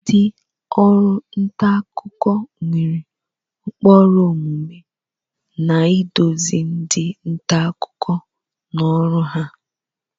Ndị ọrụ nta akụkọ nwere ụkpụrụ omume na-eduzi ndị nta akụkọ n'ọrụ ha.